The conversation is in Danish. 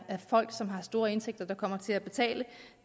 folk som har store indtægter der kommer til at betale